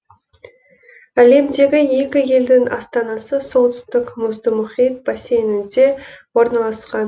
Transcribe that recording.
әлемдегі екі елдің астанасы солтүстік мұзды мұхит бассейнінде орналасқан